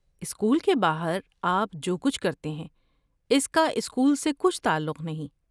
School کے باہر آپ جو کچھ کرتے ہیں اس کا اسکول سے کچھ تعلق نہیں۔